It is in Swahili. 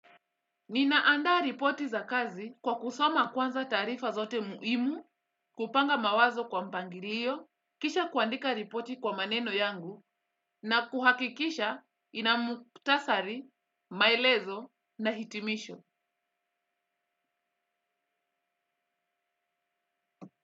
Ninaandaa ripoti za kazi kwa kusoma kwanza taarifa zote muhimu, kupanga mawazo kwa mpangilio, kisha kuandika ripoti kwa maneno yangu na kuhakikisha ina muktasari, maelezo na hitimisho.